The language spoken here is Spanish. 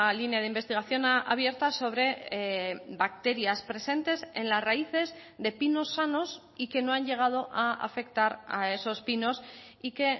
línea de investigación abierta sobre bacterias presentes en las raíces de pinos sanos y que no han llegado a afectar a esos pinos y que